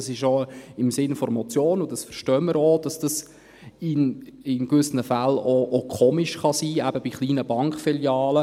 Dies ist auch im Sinn der Motion, und wir verstehen, dass es in gewissen Fällen auch komisch sein kann, eben bei kleinen Bankfilialen.